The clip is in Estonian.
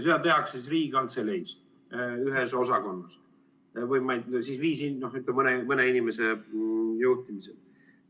Seda tehakse siis Riigikantseleis ühes osakonnas, ütleme, mõne inimese juhtimisel.